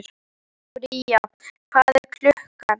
Bría, hvað er klukkan?